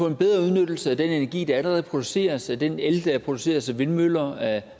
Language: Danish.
en bedre udnyttelse af den energi der allerede produceres af den el der produceres af vindmøller af